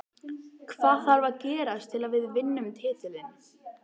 Hvað þarf að gerast til að við vinnum titilinn?